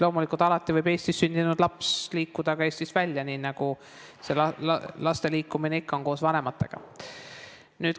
Loomulikult, alati võib Eestis sündinud laps liikuda koos vanematega ka Eestist välja, nii nagu see laste liikumine ikka toimub.